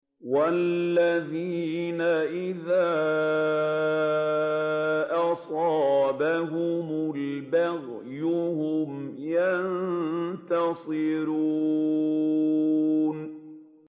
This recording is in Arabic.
وَالَّذِينَ إِذَا أَصَابَهُمُ الْبَغْيُ هُمْ يَنتَصِرُونَ